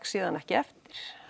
síðan ekki eftir